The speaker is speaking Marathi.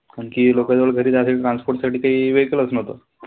आणखी लोकांजवळ घरी जाण्यासाठी transport साठी कांही vehicle चं नव्हतं.